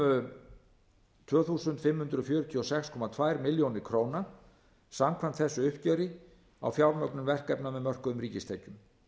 um tvö þúsund fimm hundruð fjörutíu og sex komma tveimur milljónum króna samkvæmt þessu uppgjöri á fjármögnun verkefna með mörkuðum ríkistekjum